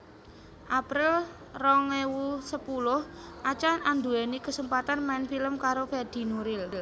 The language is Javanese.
April rong ewu sepuluh Acha anduweni kesempatan main film karo Fedi Nuril